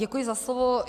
Děkuji za slovo.